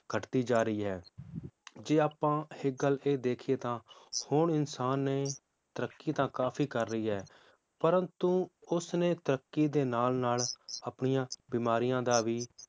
ਘਟਦੀ ਜਾ ਰਹੀ ਹੈ ਜੇ ਆਪਾਂ ਇੱਕ ਗੱਲ ਇਹ ਦੇਖੀਏ ਤਾਂ ਹੁਣ ਇਨਸਾਨ ਨੇ ਤਰੱਕੀ ਤਾਂ ਕਾਫੀ ਕਰ ਲਯੀ ਹੈ, ਪ੍ਰੰਤੂ ਉਸ ਨੇ ਤਰੱਕੀ ਦੇ ਨਾਲ ਨਾਲ ਆਪਣੀਆਂ ਬਿਮਾਰੀਆਂ ਦਾ ਵੀ